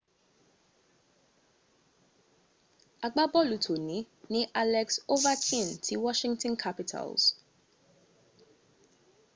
agbábọ̀lù tòní ní alex overchkin ti washington capitals